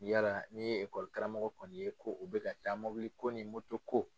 Yala n'i ye ekɔli karamɔgɔ kɔni ye ko o bɛ ka taa mobili ko ni ko.